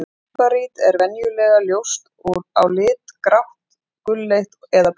Líparít er venjulega ljóst á lit, grátt, gulleit eða bleikt.